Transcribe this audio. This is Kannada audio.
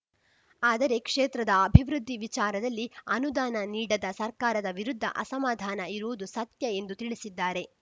ಆದರೆ ಕ್ಷೇತ್ರದ ಅಭಿವೃದ್ಧಿ ವಿಚಾರದಲ್ಲಿ ಅನುದಾನ ನೀಡದ ಸರ್ಕಾರದ ವಿರುದ್ಧ ಅಸಮಾಧಾನ ಇರುವುದು ಸತ್ಯ ಎಂದು ತಿಳಿಸಿದ್ದಾರೆ